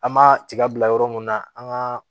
An ma tiga bila yɔrɔ mun na an gaa